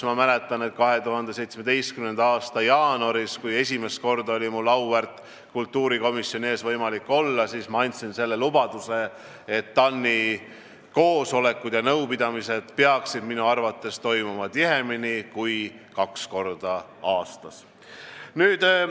Ma mäletan, et 2017. aasta jaanuaris, kui mul oli esimest korda võimalik auväärt kultuurikomisjoni ees olla, siis ma andsin lubaduse, et TAN-i koosolekud ja nõupidamised peaksid toimuma tihemini kui kaks korda aastas.